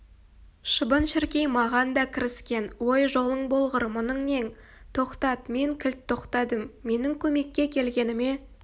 шыбын-шіркей маған да кіріскен ой жолың болғыр мұның нең тоқтат мен кілт тоқтадым менің көмекке келгеніме